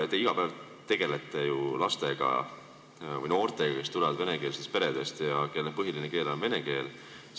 Te ju iga päev tegelete laste või noortega, kes tulevad venekeelsetest peredest ja kelle põhiline keel on vene keel.